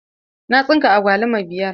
Na tsinka agwaluma biyar.